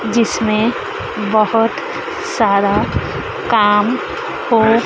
जिसमें बहुत सारा काम हो--